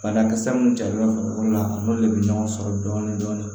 Banakisɛ mun carila farikolo la a n'olu de bɛ ɲɔgɔn sɔrɔ dɔɔni dɔɔni dɔɔni